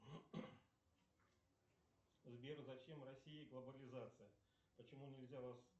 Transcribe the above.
сбер зачем россии глобализация почему нельзя